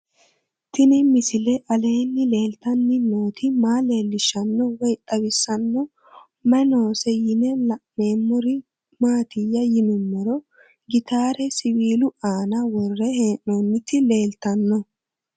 Tenni misile aleenni leelittanni nootti maa leelishshanno woy xawisannori may noosse yinne la'neemmori maattiya yinummoro gittare siwiillu aanna worre hee'noonnitti leelittanno